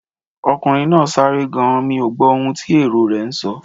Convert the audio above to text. Ọkùnrin náà sáré gan-an, mí ò gbó ohun tí èrò rè ń sọ